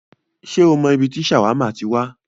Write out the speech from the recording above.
Ṣé o mọ ibi tí ṣàwámà ti wá?